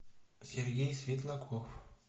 сергей светлаков